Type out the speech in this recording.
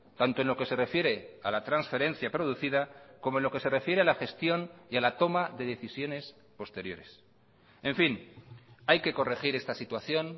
tanto en lo que se refiere a la transferencia producida como en lo que se refiere a la gestión y a la toma de decisiones posteriores en fin hay que corregir esta situación